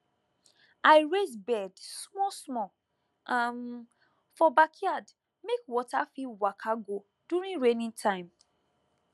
i raise bed small small um for backyard make water fit waka go during rainy time